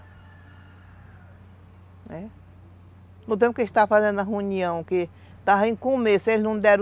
Não, é. No tempo que a gente estava fazendo a reunião, que estava em começo, eles não deram...